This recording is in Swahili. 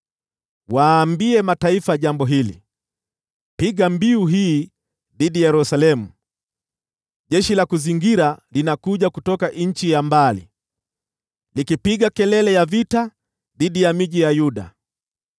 “Waambie mataifa jambo hili, piga mbiu hii dhidi ya Yerusalemu: ‘Jeshi la kuzingira linakuja kutoka nchi ya mbali, likipiga kelele ya vita dhidi ya miji ya Yuda.